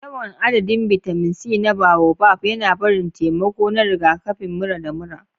Yawan adadin bitamin C na boabab yana barin taimako a rigakafin mura da mura.